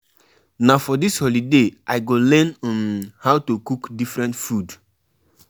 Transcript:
Invite pipo wey go do entertainment like musicians, dancers and do decorations too